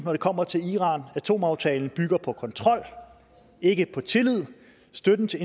når det kommer til iran atomaftalen bygger på kontrol ikke på tillid og støtten til